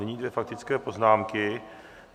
Nyní dvě faktické poznámky.